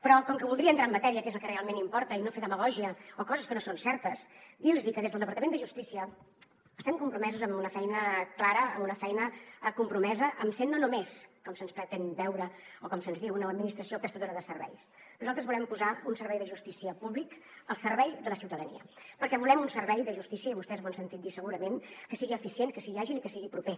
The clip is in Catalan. però com que voldria entrar en matèria que és el que realment importa i no fer demagògia o dir coses que no són certes dir los que des del departament de justícia estem compromesos amb una feina clara amb una feina compromesa amb ser no només com se’ns pretén veure o com se’ns diu una administració prestadora de serveis nosaltres volem posar un servei de justícia públic al servei de la ciutadania perquè volem un servei de justícia i vostès m’ho han sentit dir segurament que sigui eficient que sigui àgil i que sigui proper